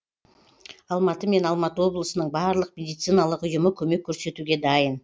алматы мен алматы облысының барлық медициналық ұйымы көмек көрсетуге дайын